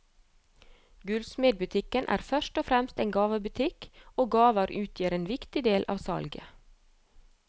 Gullsmedbutikken er først og fremst en gavebutikk, og gaver utgjør en viktig del av salget.